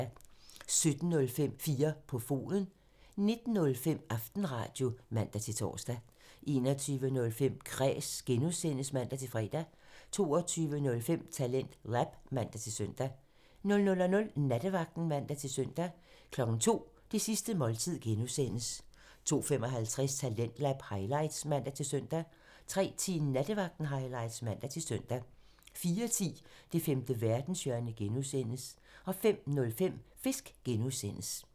17:05: 4 på foden (man) 19:05: Aftenradio (man-tor) 21:05: Kræs (G) (man-fre) 22:05: TalentLab (man-søn) 00:00: Nattevagten (man-søn) 02:00: Det sidste måltid (G) (man) 02:55: Talentlab highlights (man-søn) 03:10: Nattevagten highlights (man-søn) 04:10: Det femte verdenshjørne (G) (man) 05:05: Fisk (G) (man)